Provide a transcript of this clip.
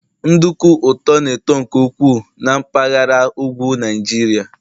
nduku ụtọ na-eto nke ukwuu na mpaghara ugwu Nijiria